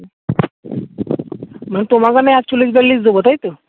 মানে তোমাকে আমি একচল্লিশ বিয়াল্লিশ দেব তাই তো